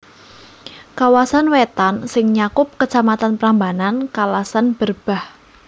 Kawasan Wétan sing nyakup Kacamatan Prambanan Kalasan Berbah